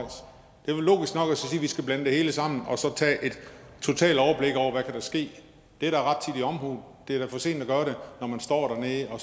vi skal blande det hele sammen og så tage et totalt overblik over hvad der kan ske det er da rettidig omhu det er da for sent at gøre det når man står dernede og